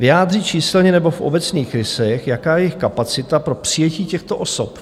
Vyjádřit číselně nebo v obecných rysech, jaká je jejich kapacita pro přijetí těchto osob."